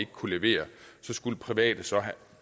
kunne levere skulle private så have